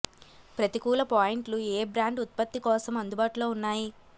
ప్రతికూల పాయింట్లు ఏ బ్రాండ్ ఉత్పత్తి కోసం అందుబాటులో ఉన్నాయి